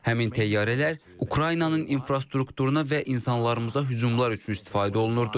Həmin təyyarələr Ukraynanın infrastrukturuna və insanlarımıza hücumlar üçün istifadə olunurdu.